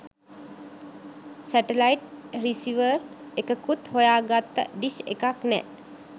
Satellite receiver එකකුත් හොයාගත්ත dish එකක් නෑ.